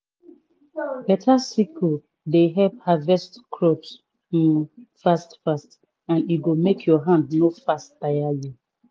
beta sickle dey help harvest crops um fast fast and e go make ur hand no fast tire you.